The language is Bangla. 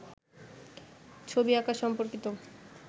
ছবি আঁকা সম্পর্কিত